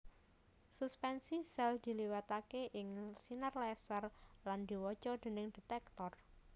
Suspensi sèl diliwataké ing sinar laser lan diwaca déning detektor